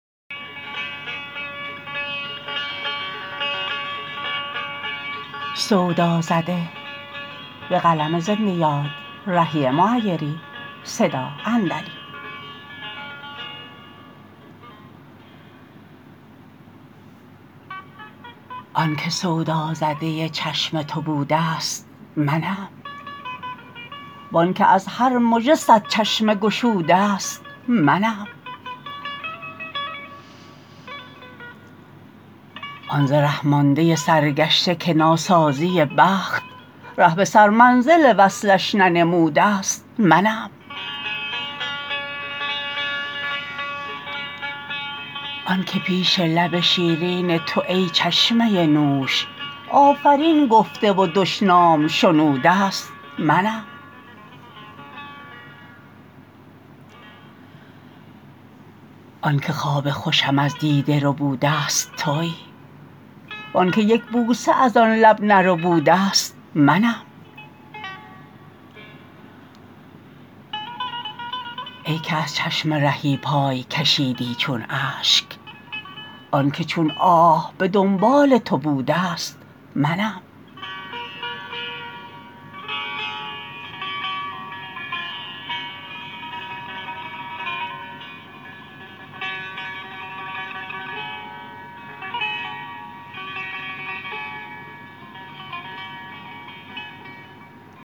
آن که سودازده چشم تو بوده است منم وآن که از هر مژه صد چشمه گشوده است منم آن ز ره مانده سرگشته که ناسازی بخت ره به سرمنزل وصلش ننموده است منم آن که پیش لب شیرین تو ای چشمه نوش آفرین گفته و دشنام شنوده است منم آن که خواب خوشم از دیده ربوده است تویی وآن که یک بوسه از آن لب نربوده است منم ای که از چشم رهی پای کشیدی چون اشک آن که چون آه به دنبال تو بوده است منم